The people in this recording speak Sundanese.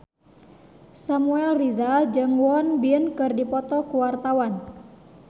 Samuel Rizal jeung Won Bin keur dipoto ku wartawan